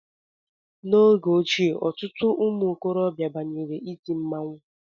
N'oge ochie, ọtụtụ ụmụ okorobịa banyere iti mmanwụ